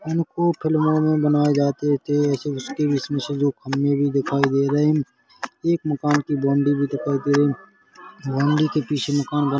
इनको फिल्मों में बनाए जाते थे इसमें दो खंबे भी दिखाई दे रहे हैं एक मकान की बाउन्ड्री भी दिखाई दे रही है बाउन्ड्री के पीछे मकान --